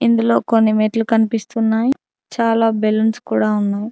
ఇందులో కొన్ని మెట్లు కన్పిస్తున్నాయ్ చాలా బెలూన్స్ కూడా ఉన్నాయ్.